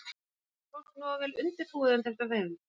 Lillý: Er fólk nógu vel undirbúið undir þetta veður?